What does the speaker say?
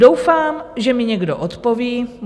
Doufám, že mi někdo odpoví.